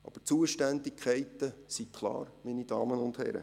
Aber die Zuständigkeiten sind klar, meine Damen und Herren.